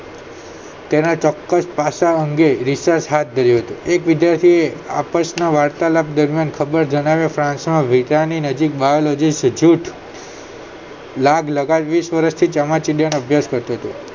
તેના ચોક્કસ પાસા અંગે research હાથ ધર્યો છે એક વિદ્યાર્થીએ આપસના વાર્તાલાપ દરમિયાન ખબર જણાવ્યા ફ્રાન્સ ના નજીક biology લાગલગા જ વિસ વર્ષથી ચામાચીડિયાનો અભ્યાષ કરતો હતો